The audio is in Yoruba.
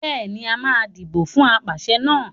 Bẹ́ẹ̀ ni, a máa dìbò fún apàṣẹ náà.